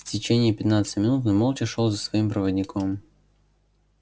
в течение пятнадцати минут он молча шёл за своим проводником